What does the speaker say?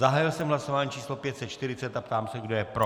Zahájil jsem hlasování číslo 540 a ptám se, kdo je pro.